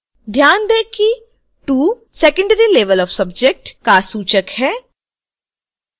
ध्यान दें कि 2 secondary level of subject का सूचक है